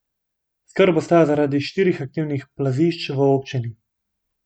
Skrb ostaja zaradi štirih aktivnih plazišč v občini.